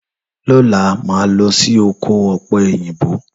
Lọlá máa lọ sí oko òpẹ òyìnbó.